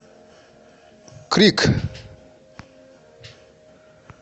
крик